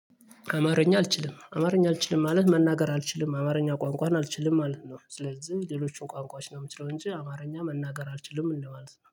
አማርኛ አልችልም አማርኛ አልችልም ማለት መናገር አልችልም አማርኛ ቋንቋን አልችልም ማለት ነው። ስለዚህ ሌሎቹን ቋንቋች ነው የምችለው እንጂ አማርኛ መናገር አልችልም እንደማለት ነው